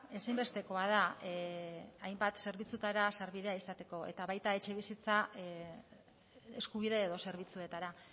ezinbestekoa da hainbat zerbitzuetara sarbidea izateko eta baita etxebizitza eskubide edo zerbitzuetara